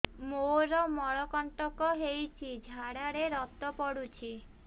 ମୋରୋ ମଳକଣ୍ଟକ ହେଇଚି ଝାଡ଼ାରେ ରକ୍ତ ପଡୁଛି